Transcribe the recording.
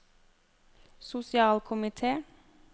sosialkomite